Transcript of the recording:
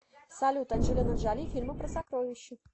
салют анджелина джоли фильмы про сокровища